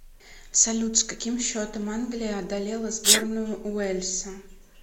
салют с каким счетом англия одолела сборную уэльса